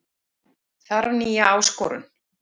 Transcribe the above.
Þarf nýja áskorun